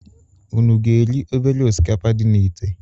Unu ga-eri obere osikapa dị na ìtè?